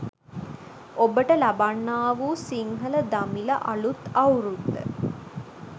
ඔබට ලබන්නා වූ සිංහල දමිළ අළුත් අවුරුද්ද